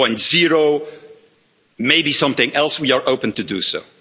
2.0, maybe something else we are open to do so.